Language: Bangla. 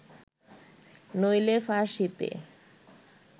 নইলে ফার্সীতে